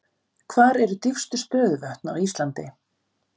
Hver eru dýpstu stöðuvötn á Íslandi?